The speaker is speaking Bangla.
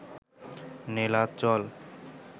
নীলাচল